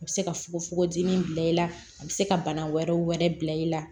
A bɛ se ka fogofogo di min bila i la a bɛ se ka bana wɛrɛw wɛrɛ bila i la